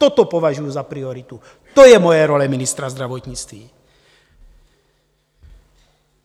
Toto považuji za prioritu, to je moje role ministra zdravotnictví.